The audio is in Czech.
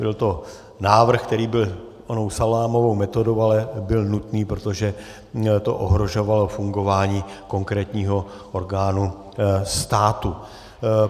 Byl to návrh, který byl onou salámovou metodou, ale byl nutný, protože to ohrožovalo fungování konkrétního orgánu státu.